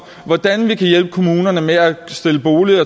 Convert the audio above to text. hvordan vi kan hjælpe kommunerne med at stille boliger